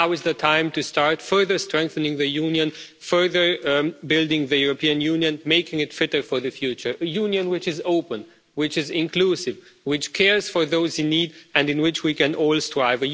Now is the time to start further strengthening the Union, further building the European Union, making it fitter for the future a Union which is open, which is inclusive, which cares for those in need, and in which we can all strive